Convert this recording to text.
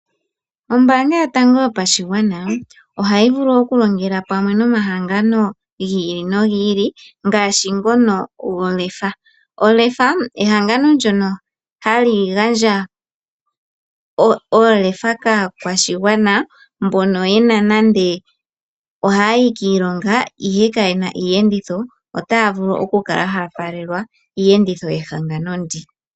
Ombaanga yotango yopashigwana ohayi vulu okolongela kumwe namahangano gi ili nogi ili ngaashi ehangano lyoLEFA, LEFA ehangano ndyono hali gandja oolefa kaakwashigwana mbono nando ohaya yi kiilonga ashike ka yena iiyenditho otaya vulu okukala ha ya faalelwa kiiyenditho yehangano ndika.